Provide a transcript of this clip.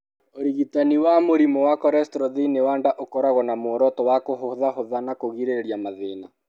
Ũrigitani wa mũrimũ wa cholesterol thĩinĩ wa nda ũkoragwo na muoroto wa kũhũthahũtha na kũgirĩrĩria mathĩna.